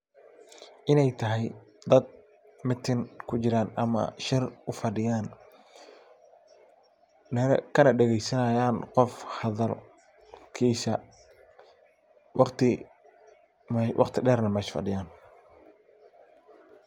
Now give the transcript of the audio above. Ineey tahay dhadh meeting kujiraan ama shirr ufadhiyaan kanadhageeysanaayaan qoff hadhalkiisa waqti dheer lee mesha fadhiyaan